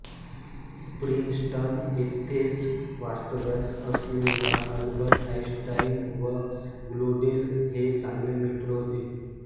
Princeton येथेच वास्तव्यास असलेला आल्बर्ट आईनस्टाईन व ग्योडेल हे चांगले मित्र होते